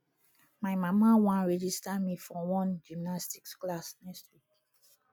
my mama wan register me for one gymnastics class next week